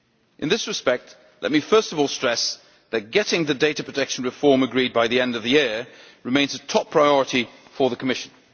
In this respect, let me first of all stress that getting the data protection reform agreed by the end of the year remains a top priority for the Commission.